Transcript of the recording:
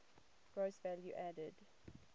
gross value added